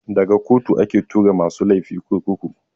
Daga kotu ake tura masu laifi kurkuku.